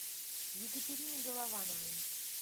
екатерине головановой